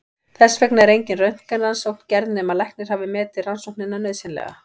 Þess vegna er engin röntgenrannsókn gerð nema læknir hafi metið rannsóknina nauðsynlega.